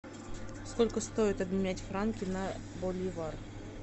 сколько стоит обменять франки на боливар